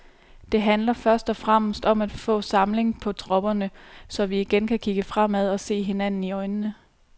Det handler først og fremmest om at få samling på tropperne, så vi igen kan kigge fremad og se hinanden i øjnene.